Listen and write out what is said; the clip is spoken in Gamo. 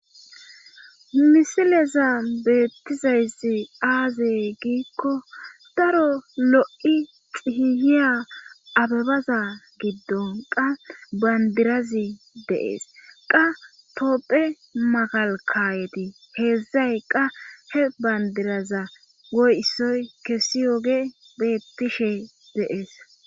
misileza beettizayssi aaze giikko daro lo7i xihiyiya abebaza giddon qa bandirazi de'ees qa toopphe magalkayeti heedzdzay qa he bayndiraza goysoy kessi yoge beettishe de'es